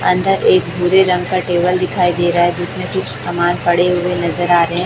अंदर एक भूरे रंग का टेबल दिखाई दे रहा है जिसमें कुछ सामान पड़े हुए नजर आ रहे--